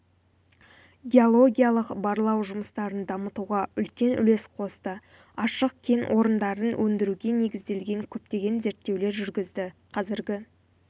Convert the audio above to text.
геологиялық-барлау жұмыстарын дамытуға үлкен үлес қосты ашық кен орындарын өндіруге негізделген көптеген зерттеулер жүргізді қазіргі